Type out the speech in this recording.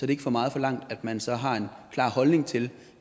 det ikke for meget forlangt at man så har en klar holdning til